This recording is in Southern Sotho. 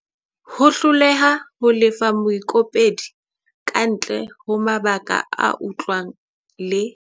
Ho hloleha ho lefa moikopedi kantle ho mabaka a utlwahalang le.